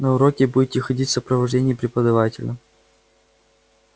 на уроки будете ходить в сопровождении преподавателя